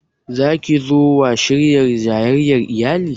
Za ki zo wa shirya jayayyar iyali?